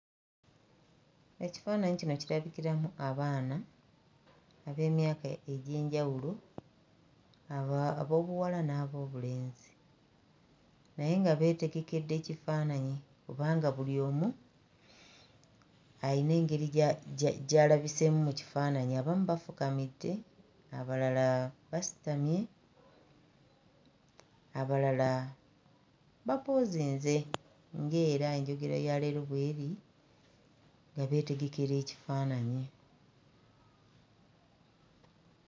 Ekifaananyi kino kirabikiramu abaana ab'emyaka egy'enjawulo aba... ab'obuwala n'ab'obulenzi naye nga beetegekedde kifaananyi kubanga buli omu ayina gya... gya... gy'alabiseemu mu kifaananyi. Abamu bafukamidde, abalala basitamye, abalala bapoozinze ng'era enjogera ya leero bw'eri nga beetegekera ekifaananyi.